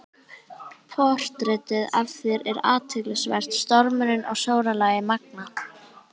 Portrettið af þér er athyglisvert- stormurinn og sólarlagið magnað.